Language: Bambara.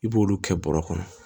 I b'olu kɛ bɔrɛ kɔnɔ